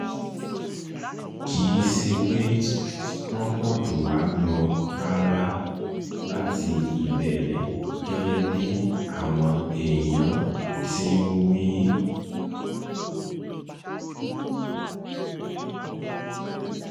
kì í ṣe pé wọ́n pọ̀ jù wá lọ rárá láti ìbẹ̀rẹ̀ gẹ́gẹ́ bí àwọn èèyàn ti ń wí